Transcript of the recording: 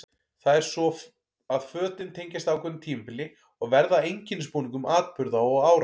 Það er svo að fötin tengjast ákveðnu tímabili og verða að einkennisbúningum atburða og ára.